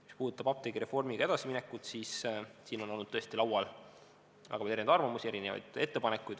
Mis puudutab apteegireformiga edasiminekut, siis siin on olnud tõesti laual väga erinevaid arvamusi, erinevaid ettepanekuid.